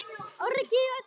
Öryggið á oddinn!